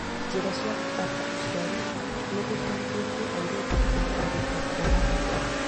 Njĩra cia gũbanga ũciari nĩgũteithĩtie airĩtu kũrigĩrĩria kuoha nda tene